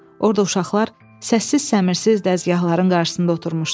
Orda uşaqlar səssiz səmirsiz dəzgahların qarşısında oturmuşdular.